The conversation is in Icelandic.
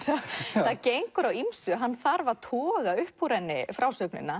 það gengur á ýmsu hann þarf nánast að toga upp úr henni frásögnina